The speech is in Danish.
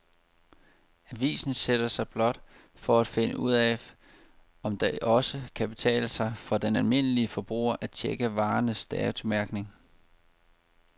Avisen sætter sig blot for at finde ud af, om det også kan betale sig for den almindelige forbruger at checke varernes datomærkning.